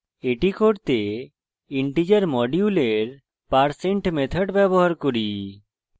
এটি করতে integer module parseint method ব্যবহার করি